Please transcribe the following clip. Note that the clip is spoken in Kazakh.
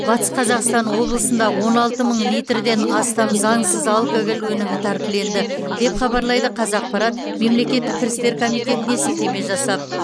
батыс қазақстан облысында он алты мың литрден астам заңсыз алкоголь өнімі тәркіленді деп хабарлайды қазақпарат мемлекеттік кірістер комитетіне сілтеме жасап